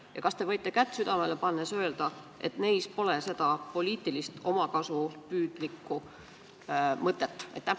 Ja kas te võite kätt südamele pannes öelda, et nende taga pole poliitiliselt omakasupüüdlikku mõtet?